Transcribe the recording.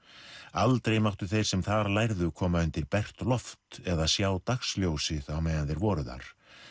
aldrei máttu þeir sem þar lærðu koma undir bert loft eða sjá dagsljósið á meðan þeir voru þar